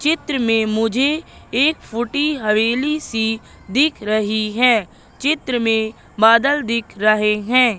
चित्र में मुझे एक फूटी हवेली सी दिख रही है चित्र में बादल दिख रहे है।